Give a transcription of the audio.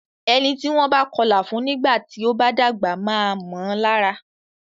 Ẹni tí wọ́n bá kọlà fún nígbà tí o bá dàgbà máa mọ lára.